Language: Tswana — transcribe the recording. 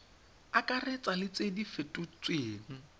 akaretsa le tse di fetotsweng